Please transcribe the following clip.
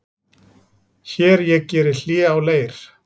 Hér ég geri hlé á leir